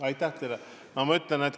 Aitäh teile!